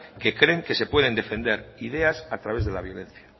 que creen que se puede defender idea a través de la violencia